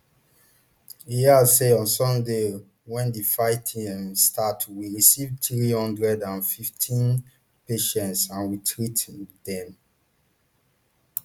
e add say on sunday wen di fighting um start we receive three hundred and fifteen patients and we treat um dem